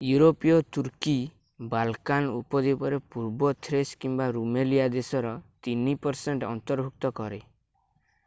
ୟୁରୋପୀୟ Turkey Balkan ଉପଦ୍ୱୀପରେ ପୂର୍ବ ଥ୍ରେସ୍ କିମ୍ବା ରୁମେଲିଆ ଦେଶର 3% ଅନ୍ତର୍ଭୁକ୍ତ କରେ।